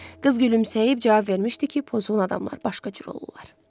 Qız gülümsəyib cavab vermişdi ki, pozğun adamlar başqa cür olurlar.